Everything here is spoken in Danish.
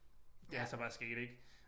Det er så bare sket ik